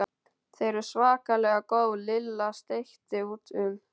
Þau eru svakalega góð Lilla sleikti út um.